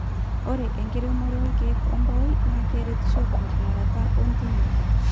ore enkiremore olkeek ombaoi naa keretisho tenking'urata ootimi